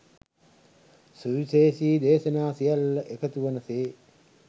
සුවිශේෂී දේශනා සියල්ල එකතු වන සේ